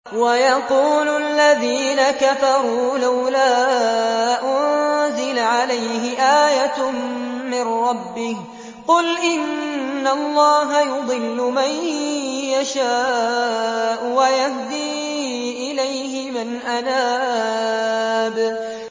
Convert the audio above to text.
وَيَقُولُ الَّذِينَ كَفَرُوا لَوْلَا أُنزِلَ عَلَيْهِ آيَةٌ مِّن رَّبِّهِ ۗ قُلْ إِنَّ اللَّهَ يُضِلُّ مَن يَشَاءُ وَيَهْدِي إِلَيْهِ مَنْ أَنَابَ